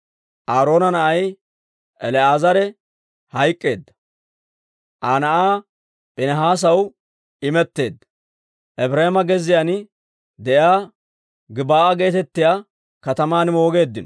Aaroona na'ay El"aazare hayk'k'eedda; Aa na'aa Piinihaasaw imetteedda Efireema gezziyaan de'iyaa Gib'aa geetettiyaa kataman moogeeddino.